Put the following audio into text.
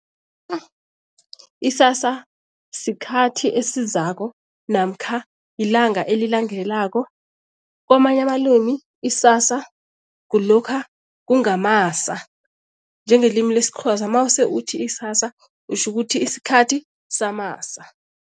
Isasa sikhathi esizako namkha yilanga elilandelako. Kwamanye amalimi isasa kulokha kungamasa njengelimi lesiXhosa, mase uthi isasa utjho ukuthi isikhathi samasa.